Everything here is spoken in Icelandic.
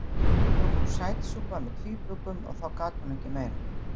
Nú kom sætsúpa með tvíbökum og þá gat hún ekki meira.